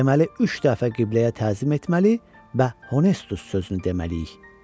Deməli üç dəfə qibləyə təzim etməli və Honustus sözünü deməliyik.